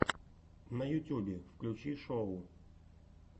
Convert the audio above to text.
на ютюбе включи шоу